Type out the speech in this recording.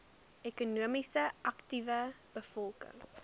ekonomies aktiewe bevolking